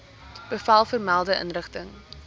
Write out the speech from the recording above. bevel vermelde inrigting